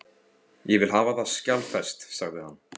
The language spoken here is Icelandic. Ég vil hafa það skjalfest, sagði hann.